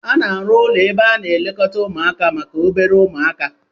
A na-arụ ụlọ ebe a na-elekọta ụmụaka maka obere umuaka